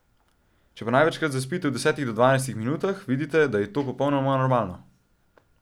Če pa največkrat zaspite v desetih do dvajsetih minutah, vedite, da je to popolnoma normalno.